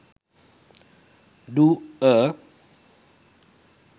do a